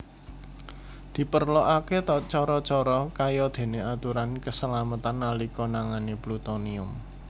Diperlokaké cara cara kayadéné aturan kasalametan nalika nangani plutonium